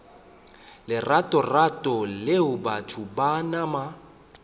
leratorato leo batho ba nama